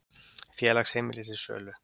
Félagsheimili til sölu